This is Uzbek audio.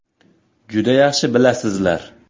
Juda yaxshi bilasizlar.